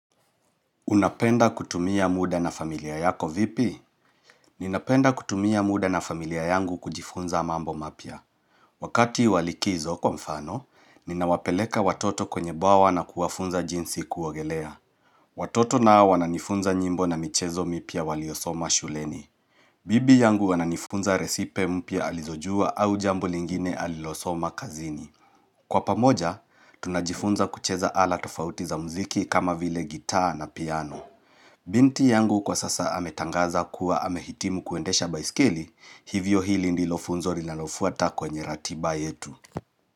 Unapenda kutumia muda na familia yako vipi? Ninapenda kutumia muda na familia yangu kujifunza mambo mapya. Wakati wa likizo kwa mfano, ninawapeleka watoto kwenye bwawa na kuwafunza jinsi kuogelea. Watoto nao wananifunza nyimbo na michezo mipya waliosoma shuleni. Bibi yangu ananifunza resipe mpya alizojua au jambo lingine alilosoma kazini. Kwa pamoja, tunajifunza kucheza ala tofauti za mziki kama vile gitaa na piano. Binti yangu kwa sasa ametangaza kuwa amehitimu kuendesha baiskeli, hivyo hili ndilo funzo linalofuata kwenye ratiba yetu.